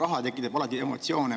Raha tekitab alati emotsioone.